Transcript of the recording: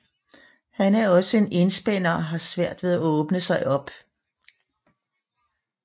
Han er også en enspænder og har svært ved at åbne sig op